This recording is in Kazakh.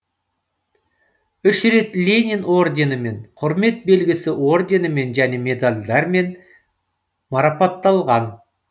үш рет ленин орденімен құрмет белгісі орденімен және медальдермен марапатталған